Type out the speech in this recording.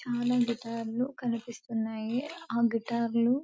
చాలా గిటార్ లు కనిపిస్తున్నాయి. ఆ గిటార్లు --